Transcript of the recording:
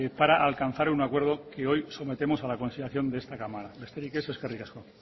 para alcanzar un acuerdo que hoy sometemos a la consideración de esta cámara besterik ez eskerrik asko